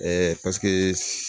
paseke